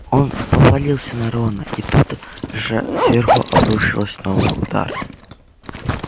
он повалился на рона и тут же сверху обрушилась новый удар